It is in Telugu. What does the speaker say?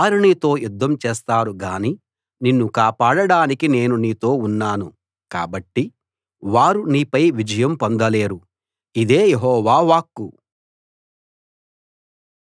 వారు నీతో యుద్ధం చేస్తారు గాని నిన్ను కాపాడడానికి నేను నీతో ఉన్నాను కాబట్టి వారు నీపై విజయం పొందలేరు ఇదే యెహోవా వాక్కు